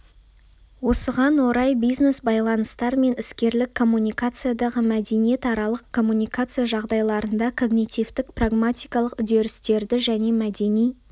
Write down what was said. осыған орай бизнес-байланыстар мен іскерлік коммуникациядағы мәдениетаралық коммуникация жағдайларында когнитивтік прагматикалық үдерістерді және мәдени